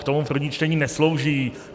K tomu první čtení neslouží.